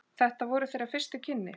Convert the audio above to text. Þetta voru þeirra fyrstu kynni.